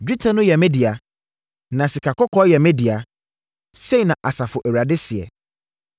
‘Dwetɛ no yɛ me dea. Na sikakɔkɔɔ yɛ me dea.’ Sei na Asafo Awurade seɛ.